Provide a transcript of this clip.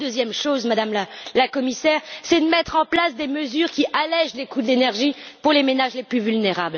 La deuxième chose, Madame la Commissaire, c'est de mettre en place des mesures qui allègent les coûts de l'énergie pour les ménages les plus vulnérables.